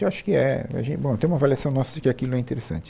Eu acho que é e a gen, bom, tem uma avaliação nossa de que aquilo é interessante.